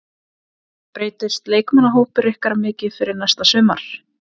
Breytist leikmannahópur ykkar mikið fyrir næsta sumar?